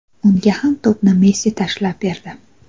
Unga ham to‘pni Messi tashlab berdi.